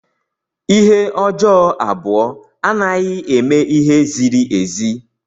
Ihe ọjọọ abụọ anaghị eme ihe ziri ezi.